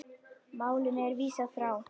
Málinu var vísað frá.